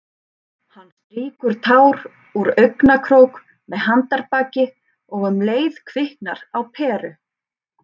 Hann strýkur tár úr augnakrók með handarbaki- og um leið kviknar á peru.